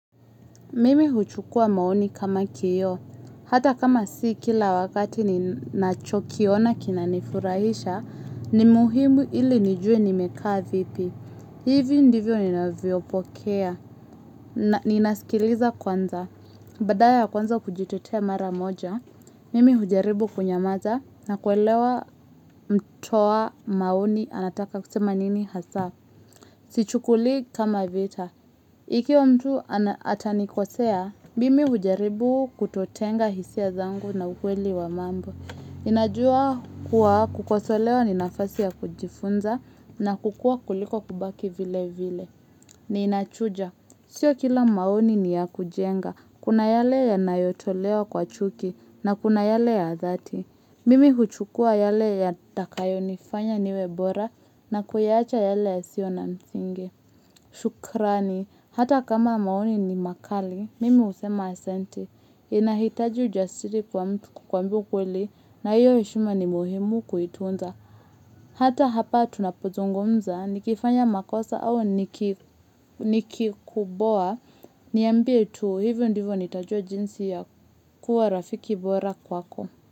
Mimi huchukua maoni kama kioo, hata kama si kila wakati ninacho kiona kinanifurahisha, ni muhimu ili nijue nimekaa vipi. Hivi ndivyo ninavyopokea, ninasikiliza kwanza. Badala ya kuanza kujitetea mara moja, mimi hujaribu kunyamaza na kuelewa mtoa maoni anataka kusema nini hasa. Sichukulii kama vita. Ikiwa mtu atanikosea, mimi hujaribu kutotenga hisia zangu na ukweli wa mambo. Ninajua kuwa kukosolewa ni nafasi ya kujifunza na kukuwa kuliko kubaki vile vile. Ni inachuja. Sio kila maoni ni ya kujenga. Kuna yale yanayotolewa kwa chuki na kuna yale ya dhati. Mimi huchukua yale yatakayo nifanya niwe bora na kuyaacha yale yasio na msingi. Shukrani. Hata kama maoni ni makali, mimi husema asante. Inahitaji ujasiri kwa mtu kukwambia ukweli hiyo heshima ni muhimu kuitunza. Hata hapa tunapozungumza, nikifanya makosa au nikikuboa, niambie tuu hivyo ndivyo nitajua jinsi ya kuwa rafiki bora kwako.